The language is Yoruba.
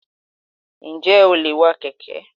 Njẹ o le wà Keke?